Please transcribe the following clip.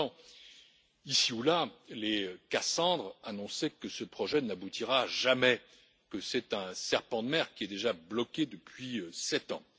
J'entends ici ou là les Cassandre annoncer que ce projet n'aboutira jamais, que c'est un serpent de mer qui est déjà bloqué depuis sept ans.